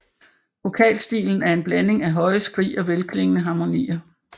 Vokalstilen er en blanding af høje skrig og velklingende harmonier